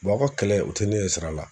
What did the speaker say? aw ka kɛlɛ u te ne ɲɛ sira la.